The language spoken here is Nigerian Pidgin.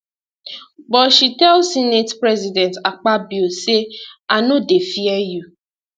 but she tell senate president akpabio say i no dey fear you